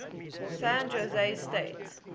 san jose state